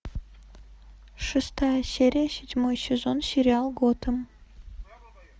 шестая серия седьмой сезон сериал готэм